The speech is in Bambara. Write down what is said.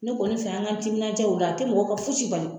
Ne kɔni fɛ an k'an timinanja ola a te mɔgɔ ka foyisi bali